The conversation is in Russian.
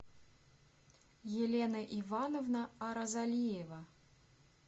елена ивановна аразалиева